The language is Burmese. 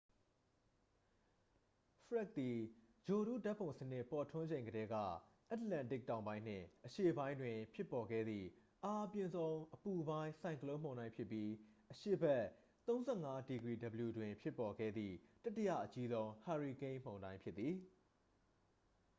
ဖရက်ဒ် သည် ဂြိုလ်တုဓာတ်ပုံစနစ် ပေါ်ထွန်းချိန်ကတည်းက အက်တလန်တစ်တောင်ပိုင်းနှင့် အရှေ့ပိုင်းတွင် ဖြစ်ပေါ်ခဲ့သည့် အားအပြင်းဆုံး အပူပိုင်း ဆိုင်ကလုန်းမုန်တိုင်းဖြစ်ပြီး အရှေ့ဘက် ၃၅°w တွင် ဖြစ်ပေါ်ခဲ့သည့် တတိယအကြီးဆုံး ဟာရီကိန်းမုန်တိုင်း ဖြစ်သည်။